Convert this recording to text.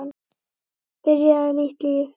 Byrjaði nýtt líf.